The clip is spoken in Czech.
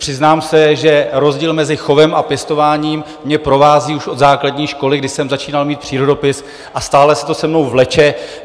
Přiznám se, že rozdíl mezi chovem a pěstováním mě provází už od základní školy, kdy jsem začínal mít přírodopis, a stále se to se mnou vleče.